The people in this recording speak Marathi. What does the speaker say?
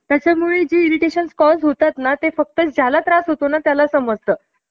एकोणविसाव्या शतकाच्या उत्तरार्धात सुरु झाला होता. अं अठरा~ अठराशे सत्ता~ सत्तावन्न च स्वातंत्र्य युद्ध शमून शमून त्यांच्या,